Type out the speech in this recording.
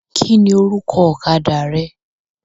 Kini orúkọ ọ̀kadà rẹ?